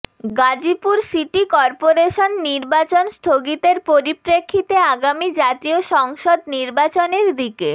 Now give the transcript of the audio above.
Gazipur city corporation নির্বাচন স্থগিতের পরিপ্রেক্ষিতে আগামী জাতীয় সংসদ নির্বাচনের দিকে